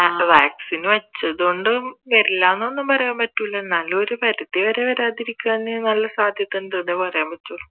vaccine വെച്ചതു കൊണ്ടും വരില്ല എന്നൊന്നും പറയാൻ പറ്റൂല എന്നാലും ഒരു പരിതി വരെ വരാതിരിക്കാൻ നല്ല സാധ്യത ഉണ്ടെന്നേ പറയാൻ പറ്റുള്ളൂ